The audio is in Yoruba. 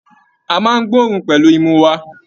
A máa n gboorun pẹlú imú wà.